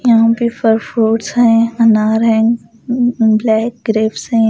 यहां पे फर फ्रूट्स हैं अनार है ब्लैक ग्रेव्स हैं।